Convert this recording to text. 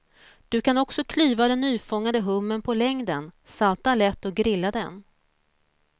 Du kan också klyva den nyfångade hummern på längden, salta lätt och grilla den.